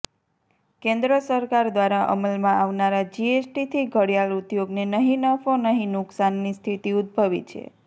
કેન્દ્ર સરકાર દ્વારા અમલમાં આવનારા જીએસટીથી ઘડિયાળ ઉદ્યોગને નહી નફો નહી નુકસાનની સ્થિતિ ઉદભવી છે